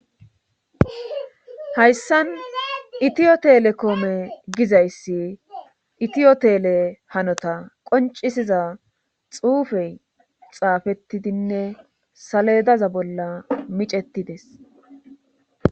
hayssan itiyo telekoome gizayssi itiyotele hanota qoncisiza xuufey xaafetidinne saledaza bolla micetides